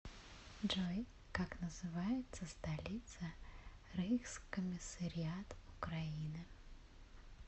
джой как называется столица рейхскомиссариат украина